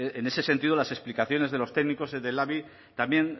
en ese sentido las explicaciones de los técnicos y del labi también